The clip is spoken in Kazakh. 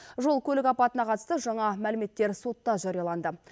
жол көлік апатына қатысты жаңа мәліметтер сотта жарияланды